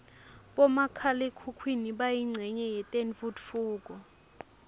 bomakhala khukhwini bayincenye yetentfutfuko